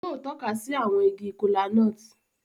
Òún yóò tọka si awọn ìgi kola-nut.